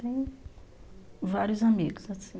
Tem vários amigos, assim.